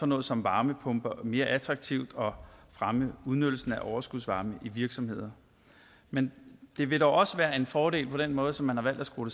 noget som varmepumper mere attraktivt og fremme udnyttelsen af overskudsvarme i virksomheder men det vil dog også være en fordel på den måde som man har valgt at skrue